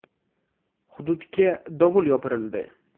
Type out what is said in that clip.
Hududga dovul yopirildi.